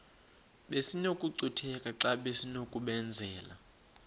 besinokucutheka xa besinokubenzela